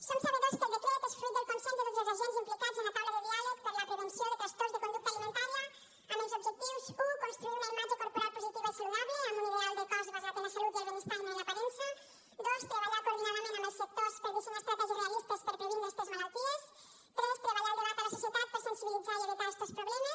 som sabedors que el decret és fruit del consens de tots els agents implicats en la taula de diàleg per la prevenció de trastorns de conducta alimentària amb els objectius u construir una imatge corporal positiva i saludable amb un ideal de cos basat en la salut i el benestar i no en l’aparença dos treballar coordinadament amb els sectors per dissenyar estratègies realistes per previndre estes malalties tres treballar el debat a la societat per sensibilitzar i evitar estos problemes